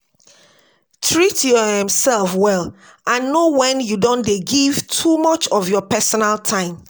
Treat your um self well and know when you don dey give too much of your personal time